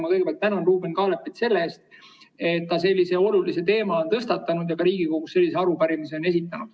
Ma kõigepealt tänan Ruuben Kaalepit selle eest, et ta sellise olulise teema on tõstatanud ja ka Riigikogus sellise arupärimise on esitanud.